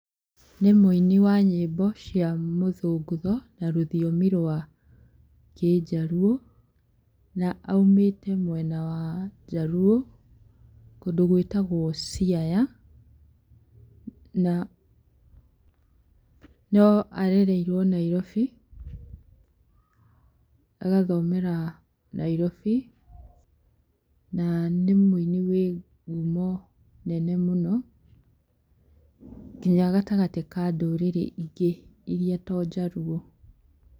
Nĩ mũini wa nyĩmbo cia mũthũngũtho na rũthiomi rwa kĩnjaruo na aumĩte mwena wa njaruo, kũndũ gwĩtagwo Siaya, na no arereirwo Nairobi, agathomera Nairobi, na nĩ mũini wĩ ngumo nene mũno nginya gatagatĩ ka ndũrĩrĩ ingĩ iria to njaruo.